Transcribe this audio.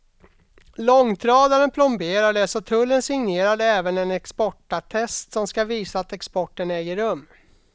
Långtradaren plomberades och tullen signerade även en exportattest, som ska visa att exporten äger rum.